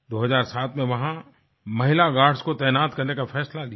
2007 में वहाँ महिला गार्ड्स को तैनात करने का फैसला लिया